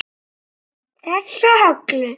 Þessa Höllu!